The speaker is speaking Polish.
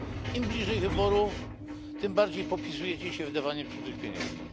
Im bliżej wyborów, tym bardziej popisujecie się wydawaniem cudzych pieniędzy.